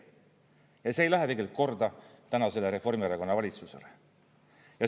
Ja see ei lähe tegelikult korda tänasele Reformierakonna valitsusele.